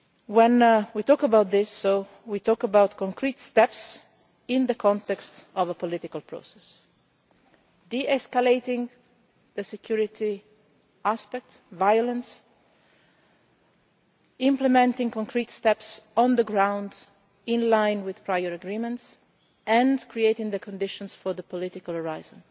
When we talk about this we mean concrete steps in the context of a political process de escalating the security aspect, ending violence, implementing concrete steps on the ground in line with prior agreements and creating the conditions for the political horizon.